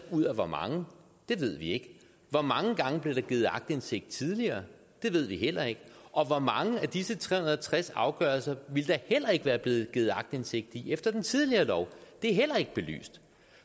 ud af hvor mange det ved vi ikke hvor mange gange blev der givet aktindsigt tidligere det ved vi heller ikke og hvor mange af disse tre hundrede og tres afgørelser ville der heller ikke være blevet givet aktindsigt i efter den tidligere lov det er heller ikke belyst